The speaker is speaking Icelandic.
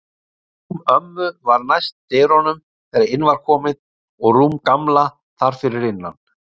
Rúm ömmu var næst dyrunum þegar inn var komið og rúm Gamla þar fyrir innan.